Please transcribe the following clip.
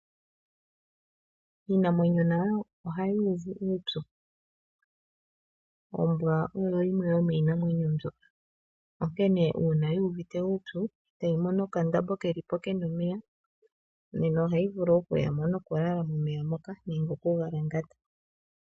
Iinamwenyo nayo ohayi uvu uupyu. Ombwa oyo yimwe yomiinamwenyo mbyo onkene uuna yi uvite uupyu e tayi mono okandombe keli po ke na omeya nena ohayi vulu okuya mo nokulala momeya moka nenge okugalangata.